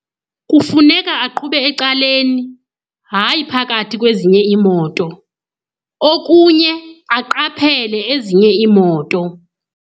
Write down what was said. Kufuneka aqhube ecaleni, hayi phakathi kwezinye iimoto. Okunye aqaphele ezinye iimoto.